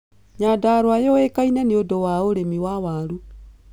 Nyandarũa yũũĩkaine nĩũndũ wa urĩmi wa waaru